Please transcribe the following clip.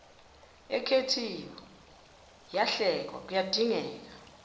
ekhethiwe yahlelwa kuyadingeka